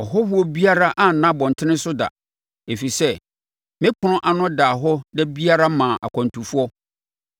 Ɔhɔhoɔ biara anna abɔntene so da, ɛfiri sɛ me ɛpono ano daa hɔ da biara maa akwantufoɔ,